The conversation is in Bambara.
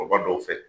Kɔrɔba dɔw fɛ